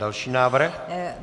Další návrh.